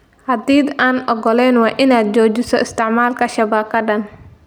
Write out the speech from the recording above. Haddii aadan ogolayn, waa inaad joojisaa isticmaalka shabakadan.